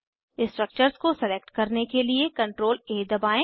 structures को select करने के लिए CTRLA दबाएं